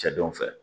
Cɛdenw fɛ